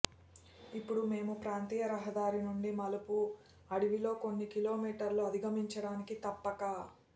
ఇప్పుడు మేము ప్రాంతీయ రహదారి నుండి మలుపు అడవిలో కొన్ని కిలోమీటర్ల అధిగమించడానికి తప్పక